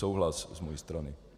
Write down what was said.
Souhlas z mojí strany.